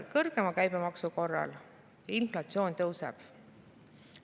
Kõrgema käibemaksu korral inflatsioon tõuseb.